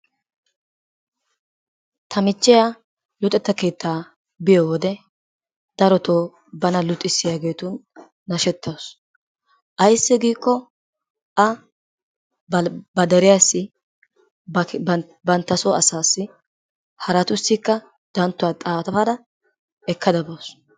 Ta michiya luxxetta keettaa biyo wode, darotoo bana luxxissiyaageetun nashetaasu. Ayssi giiko a ba deriyassi yba bantasoo asaassi haratussika danttuwaa xaafada ekkada baawusu.